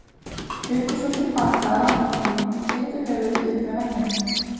Hlupu svo til baka að lambakrónni og teygðu höfuðið upp með veggjunum.